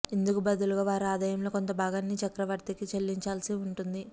ఇందుకు బదులుగా వారు ఆదాయంలో కొంత భాగాన్ని చక్రవర్తికి చెల్లించవలసి ఉంటుంది